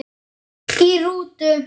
Í rútu